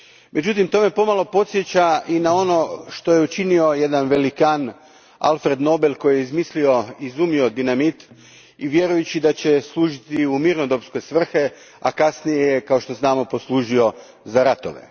Međutim, to me pomalo podsjeća i na ono što je učinio jedan velikan, Alfred Nobel, koji je izumio dinamit vjerujući da će služiti u mirnodopske svrhe, a kasnije je, kao što znamo, služio za ratove.